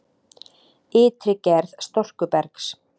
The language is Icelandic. Ytri gerð storkubergs